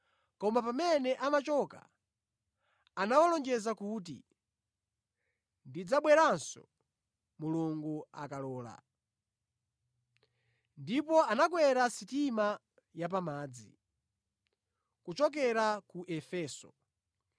Koma pamene amachoka anawalonjeza kuti, “Ndidzabweranso Mulungu akalola.” Ndipo anakwera sitima ya pamadzi kuchoka ku Efeso.